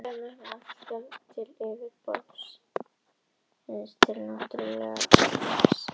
Jarðvarmavirkjanir nýta alltaf með borunum margfalt hið náttúrlega orkustreymi til yfirborðs.